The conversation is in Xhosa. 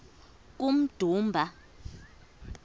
kummdumba